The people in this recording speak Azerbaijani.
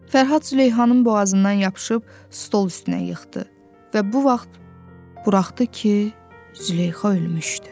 Fərhad Züleyxanın boğazından yapışıb stol üstünə yıxdı və bu vaxt buraxdı ki, Züleyxa ölmüşdü.